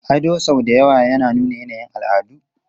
Ado sau da yawa yana nuna yanayin al'adu.